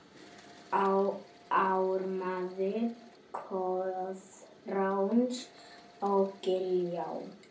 Ármaður Koðráns á Giljá